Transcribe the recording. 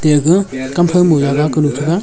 eya ga kamthow ma jaga kunu taga.